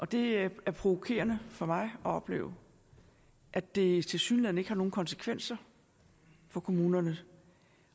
det er provokerende for mig at opleve at det tilsyneladende ikke har nogen konsekvenser for kommunerne